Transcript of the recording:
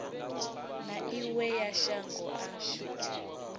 na iwe ya shango ashu